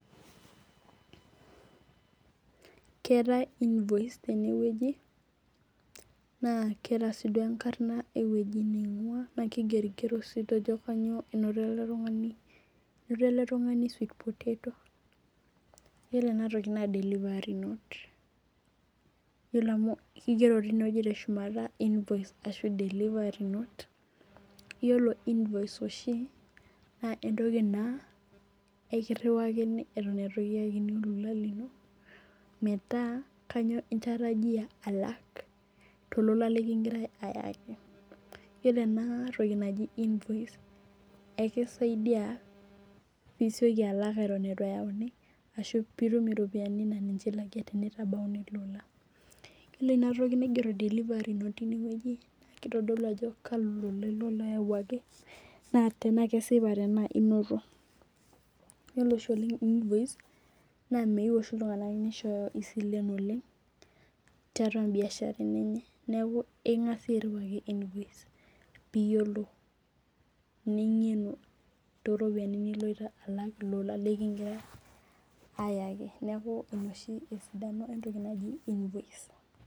Ketaai invoice teneweji naa ketaa sii duo enkarna eweji ning'ua naa kigeri gero sii duo ajo kainyoo enoti ele tung'ani. Enoto ele tung'ani sweet potato . Iyiolo ena toki naa delivary note . Iyiolo amu kigero tineweji invoice ashu delivary note . Iyiolo invoice oshi naa entoki naa ekirawaki eton eitu itum olola lino meeta kainyoo intarajia alak tolola likigirae ayakim iyiolo ena toki naji invoice ekisaidia pii isioki alak eton eitu eyauni ashu pitum iropiani naa ninche ilak tenitabauni ilo ola. Iyiolo ina toki naigero delivary note teneweji naa kitodulu ajo kalo ola ilo loyawuaki naa tenaa kesipa ajo inoto. Iyiolo oleng oshi invoice naa meyeu oshi iltung'ana nisho isilen oleng' tuatua ii biasharani enye neeku ing'asi airiwaki invoice niyiolou ning'enu too ropiani niloito alak too lola likigirai ayaki neeku ina oshi esidano ee invoice.